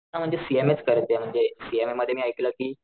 हा म्हणजे सीएमए करायचं म्हणजे सीएमए मध्ये मी ऐकलं कि,